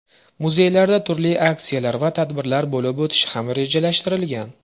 Muzeylarda turli aksiyalar va tadbirlar bo‘lib o‘tishi ham rejalashtirilgan.